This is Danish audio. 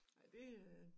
Ej det øh